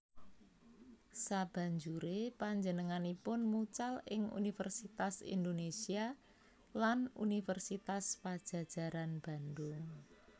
Sabanjuré panjenenganipun mucal ing Universitas Indonesia lan Universitas Padjadjaran Bandung